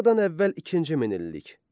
Eradan əvvəl ikinci minillik.